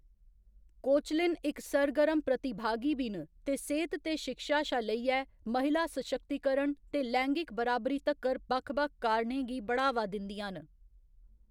Koechlin इक सरगरम प्रतिभागी बी न ते सेह्‌त ते शिक्षा शा लेइयै महिला सशक्तीकरण ते लैंगिक बराबरी तक्कर बक्ख बक्ख कारणें गी बढ़ावा दिंदियां न।